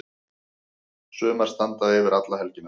Sumar standa yfir alla helgina.